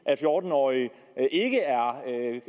at fjorten årige ikke